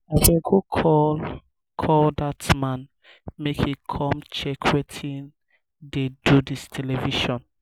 abeg go call call dat man make he come check wetin dey do dis television